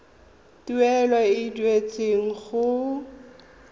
tuelo e e duetsweng go